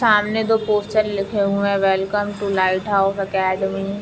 सामने दो पोस्टर लिखे हुए है welcome to light house academy --